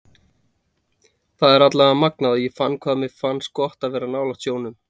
Þetta var allavega magnað og ég fann hvað mér finnst gott að vera nálægt sjónum.